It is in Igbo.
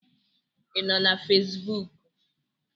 Ị nọ na Fesbuk?